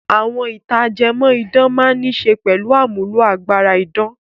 Àwọn ìtàn ajẹmọ́ án máa níṣe pẹ̀lú àmúlò agbára idán.